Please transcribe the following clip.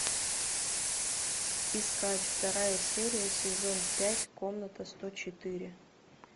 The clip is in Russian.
искать вторая серия сезон пять комната сто четыре